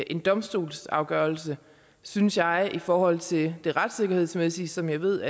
en domstolsafgørelse synes jeg at i forhold til det retssikkerhedsmæssige som jeg ved